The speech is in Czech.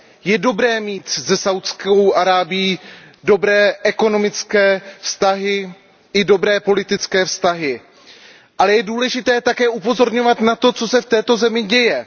Je dobré mít se Saúdskou Arábií dobré ekonomické vztahy i dobré politické vztahy, ale je také důležité upozorňovat na to, co se v této zemi děje.